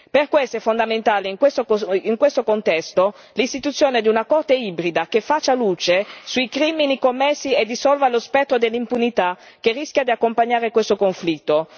Per questo è fondamentale in questo contesto l'istituzione di una Corte ibrida che faccia luce sui crimini commessi e dissolva lo spettro dell'impunità, che rischia di accompagnare questo conflitto.